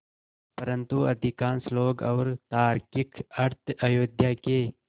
परन्तु अधिकांश लोग और तार्किक अर्थ अयोध्या के